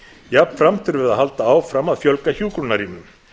jafnframt þurfum við að halda áfram að fjölga hjúkrunarrýmum